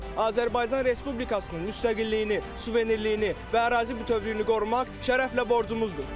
Azərbaycan Respublikasının müstəqilliyini, suverenliyini və ərazi bütövlüyünü qorumaq şərəflə borcumuzdur.